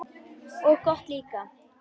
Og gott líka.